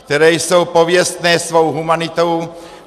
- které jsou pověstné svou humanitou.